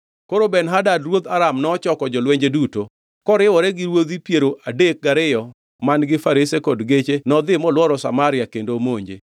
Koro Ben-Hadad ruodh Aram nochoko jolwenje duto. Koriwore gi ruodhi piero adek gariyo man-gi farese kod geche nodhi molworo Samaria kendo omonje.